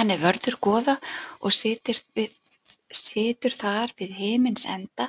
Hann er vörður goða og situr þar við himins enda